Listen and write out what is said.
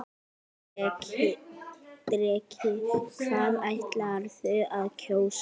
Breki: Hvað ætlarðu að kjósa?